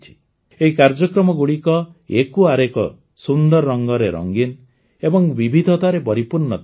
ଏହି କାର୍ଯ୍ୟକ୍ରମଗୁଡ଼ିକ ଏକୁ ଆରେକ ସୁନ୍ଦର ରଙ୍ଗରେ ରଙ୍ଗୀନ ଏବଂ ବିବିଧତାରେ ପରିପୂର୍ଣ୍ଣ ଥିଲେ